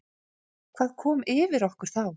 Hvað kom yfir okkur þá?